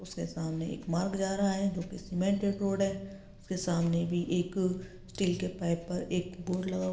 उसके सामने एक मार्ग जा रहा है जो कि सीमेंटेड रोड है उसके सामने भी एक स्टील के पाइप पर एक बोर्ड लगा हु --